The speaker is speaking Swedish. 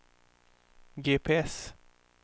GPS